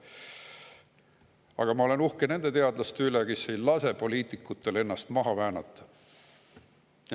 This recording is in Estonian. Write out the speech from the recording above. Aga ma olen uhke nende teadlaste üle, kes ei lase poliitikutel ennast maha väänata.